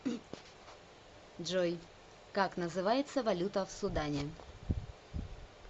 джой как называется валюта в судане